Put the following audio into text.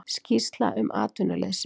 Skýrsla um atvinnuleysi